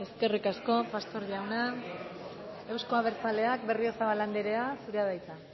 eskerrik asko pastor jauna euzko abertzaleak berriozabal anderea zurea da hitza